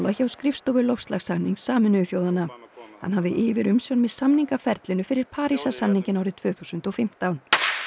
hjá skrifstofu loftslagssamnings Sameinuðu þjóðanna hann hafði yfirumsjón með samningaferlinu fyrir Parísarsamninginn árið tvö þúsund og fimmtán